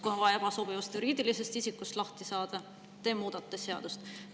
Kui on vaja ebasobivast juriidilisest isikust lahti saada, siis te muudate seadust.